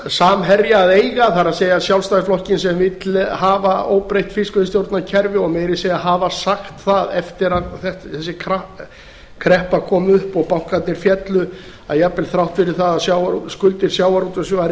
samherja að eiga það er sjálfstæðisflokkinn sem vill hafa óbreytt fiskveiðistjórnarkerfi og meira að segja hafa sagt það eftir að þessi kreppa kom upp og bankarnir féllu að jafnvel þrátt fyrir að skuldir sjávarútvegsins væru